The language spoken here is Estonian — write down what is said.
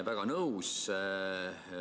Väga nõus!